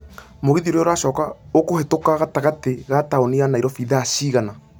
mũgithi ũrĩa ũracoka ũkũhetũka gatagatĩ ka taũni ya nairobi thaa cigana